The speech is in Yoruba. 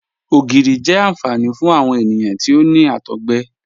Ogírí jẹ́ ànfàní fún awọn ènìyàn tí ó ní àtọ̀gbẹ